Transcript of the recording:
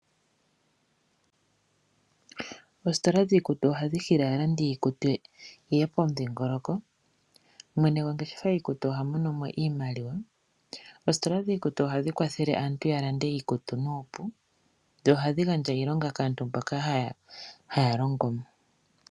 Oositola dhiikutu ohadhi hili aalandi yiikutu yeye pomudhingoloko. Mwene gwositola oha mono iimaliwa. Ohadhi kwathele aantu ya lande oompumbwe noku gandja iilonga kaantu mboka haya longo mo.